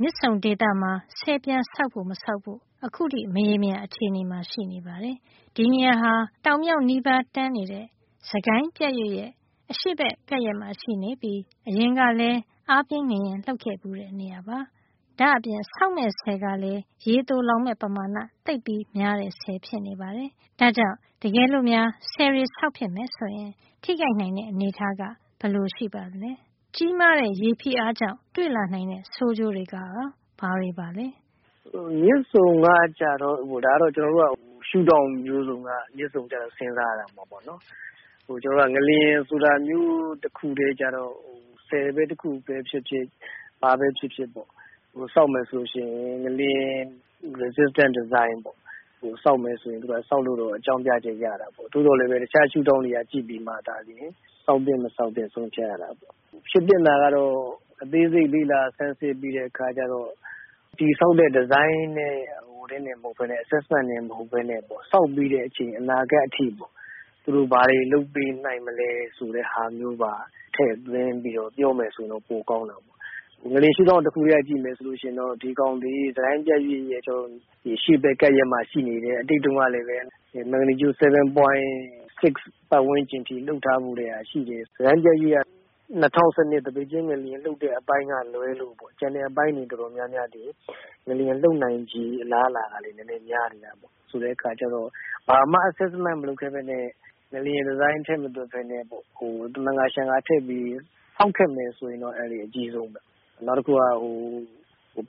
မြစ်ဆုံဒေသမှာ ဆည်ပြန်ဆောက်ဖို့ မဆောက်ဖို့ အခုထိ မရေမရာ အခြေအနေမှာ ရှိနေပါတယ်။ ဒီဒေသဟာ တောင်မြောက်နီးပါး တန်းနေတဲ့ စစ်ကိုင်းပြတ်ရွေ့ရဲ့ အရှေ့ဘက်ကပ်ရက်မှာ ရှိပြီး အရင်ကလည်း အားပြင်း ငလျင်လှုပ်ခဲ့ဘူးတဲ့ နေရာပါ။ ဒါ့အပြင် ဆောက်မယ့် ဆည်ကလည်း ရေသိုလှောင်မယ့် ပမာဏ သိပ်များတဲ့ ဆည် ဖြစ်နေပါတယ်။ ဒါ့ကြောင့် တကယ်လို့များ ဆည်တွေ ဆောက်ဖြစ်တယ် ဆိုလို့ ရှိရင် ထိခိုက်နိုင်တဲ့ အနေထားက ဘယ်လို ရှိပါသလဲ။ ကြီးမားတဲ့ ရေဖိအားကြောင့် ကြုံလာနိုင်တဲ့ ဆိုးကျိုးတွေကရော ဘာတွေပါလဲ။ မြစ်ဆုံအတွက်ဆိုရင်တော့ ရှုဒေါင့် မျိုးစုံကနေ စဉ်းစားရမှာပေါ့။ ငလျင်တခုထဲအတွက် စဉ်းစားမယ် ဆိုရင်တော့ ဆည်ဖြစ်ဖြစ် အဆောက်အဦးတခုခု ဆောက်မယ် ဆိုရင် ငလျင်ခံနိုင်ရည် ရှိမယ့် ဒီဇိုင်းနဲ့ ဆောက်မယ် ဆိုရင် ဆောက်ဖို့ အကြောင်းပြချက်တော့ ရတာပေါ့။ သို့သော်လည်း တခြားရှုဒေါင့်တွေကပါ ကြည့်ပြီး မှသာလျင် ဆောက်သင့် မဆောက်သင့် ဆုံးဖြတ်ရပါတယ်။ ဖြစ်သင့်တာကတော့ အသေးစိတ် လေ့လာ ဆန်းစစ်ပြီးတဲ့ အခါမှာ တည်ဆောက်တဲ့ ဒီဇိုင်းနဲ့ ဆက်စပ်တာတင် မဟုတ်ပဲနဲ့ ဆောက်ပြီးတဲ့ အချိန် အနာဂါတ် အထိ သူတို့ ဘာတွေ လုပ်ပေးနိုင်မလဲ ဆိုတာမျိုးတွေပါ ထည့်သွင်းပြီးတော့ ပြောမယ် ဆိုရင် တော့ ပိုကောင်းတာပေါ့။ ငလျင်ရှုဒေါင့် တခုထဲက ကြည့်မယ်ဆိုရင် သူဟာ စစ်ကိုင်းပြတ်ရွေ့နဲ့ အရှေ့ဘက် ကပ်ရက်မှာ ရှိနေတယ်။ အတိတ်တုန်းကလည်း ပဲ မက်ဂနီကျူ့ ၇.၆ ပါတ်ဝန်းကျင်အထိ လှုပ်ထားခဲ့ဘူးတာ ရှိတယ်။ စစ်ကိုင်းပြတ်ရွေ့က ၂၀၁၂ သိပိတ်ကျင်းငလျင် လှုပ်တဲ့ အပိုင်းကလွဲလို့ ကျန်တဲ့ အပိုင်းတွေ အတော်များများသည် ငလျင်လှုပ်နိုင်ချေ အလားအလာကလည်း တော်တော် များတယ်ဗျ၊ ဆိုတဲ့ အခါကျတော့ ဘာမှာ ဆန်းစစ်မှု မလုပ်ပဲနဲ့ ငလျင် ဒီဇိုင်း ထည့်မတွက်ပဲနဲ့ သမန်ကာ ရှန်ကာ တွက်ပြီး ဆောက်ခဲ့မယ် ဆိုရင်တော့ အန္တရာယ် အကြီးဆုံးပဲ။ နောက်တခု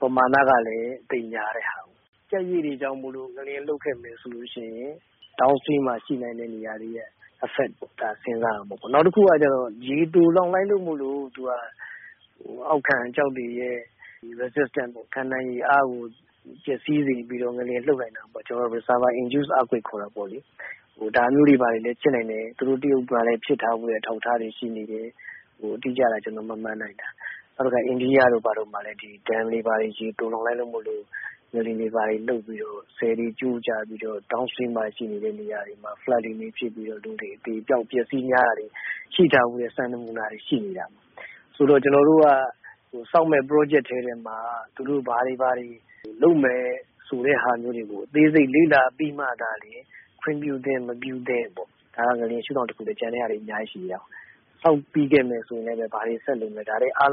က ပမာဏကလည်း သိပ်များတဲ့ ဟာကိုး။ ပြတ်ရွေ့တွေကြောင့် ငလျင်လှုပ်ခဲ့မယ် ဆိုရင် down stream မြစ်အောက်ပိုင်း ဒေသမှာ ရှိတဲ့ နေရာတွေမှာ ရိုက်ခတ်မှု ရှိမှာကို ထည့်စဉ်းစားရမှာပေါ့။ နောက်တခုက ရေသိုလှောင်လိုက်တဲ့အတွက် အောက်ခံ ကျောက်တွေရဲ့ resistance ခံနိုင်ရည်အားကို ပျက်စီးစေပြီးတော့ ငလျင် လှုပ်နိုင်တာပေါ့။ reservoir induce earthquake လို့ ခေါ်တာပေါ့။ ဒါမျိုးတွေ ဖြစ်နိုင်တယ်။ သူတို့ တရုတ်ပြည်မှာလည်း ဖြစ်ထားဖူးတဲ့ အထောက်ထားတွေ ရှိနေတယ်။ နောက် အိန္ဒိယတို့ ဘာတို့မှာ dam တွေ ရေသိုလှောင်လိုက်လို့ ငလျင်တွေ ဘာတွေ လှုပ်ပြီးတော့ ဆည်တွေ ဘာတွေ ကျိုးကျပြီးတော့ down stream မြစ်အောက်ပိုင်းမှာ ရှိတဲ့ နေရာတွေမှာ ရေကြီးရေလျှံတာတွေ ဖြစ်ပြီး လူတွေဘာတွေ အသေအပျောက် များတာတွေ အပျက်အစီးများတာတွေ ရှိထားဘူးတဲ့ စံနမူနာတွေ ရှိနေတာပါ။ ဆိုတော့ ကျွန်တော်တို့က ဆောက်မယ့် စီမံကိန်းထဲမှာ သူတို့ ဘာတွေ ဘာတွေ လုပ်မယ် ဆိုတဲ့ ဟာမျိုးတွေကို အသေးစိတ် လေ့လာပြီးမှ သာလျင် ခွင့်ပြုသင့် မပြုသင့်။ ဒါက ငလျင်ရှုဒေါင့် တခုထဲပဲ ရှိသေးတာ ကျန်တဲ့ဟာတွေ အများကြီး ရှိသေးတယ်။ ဆောက်ပြီးခဲ့မယ် ဆိုရင်လည်း ဘာတွေ ဆက်လုပ်မယ် ဆိုတာ။ ဒါတွေ အားလုံ